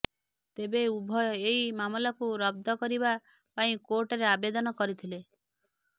ତେବେ ଉଭୟ ଏହି ମାମଲାକୁ ରଦ୍ଦ କରିବା ପାଇଁ କୋର୍ଟରେ ଆବେଦନ କରିଥିଲେ